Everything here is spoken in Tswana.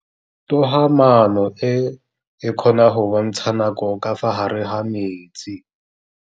Toga-maanô e, e kgona go bontsha nakô ka fa gare ga metsi.